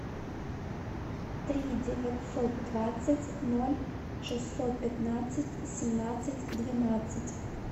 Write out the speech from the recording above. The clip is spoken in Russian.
три девятьсот двадцать ноль шестьсот пятнадцать семнадцать двенадцать